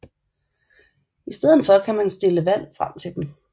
I stedet for skal man stille vand frem til dem